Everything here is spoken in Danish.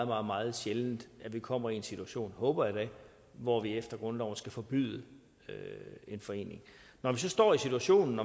meget meget sjældent at vi kommer i en situation håber jeg da hvor vi efter grundloven skal forbyde en forening når vi så står i situationen